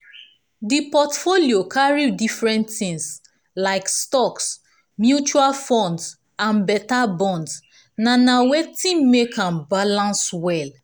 di portfolio carry different tins like stocks mutual funds and beta bonds na na watin make am balance well